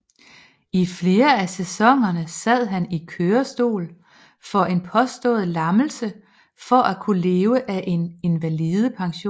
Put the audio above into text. I flere af sæsonerne sad han i kørestol for en påstået lammelse for at kunne leve af en invalidepension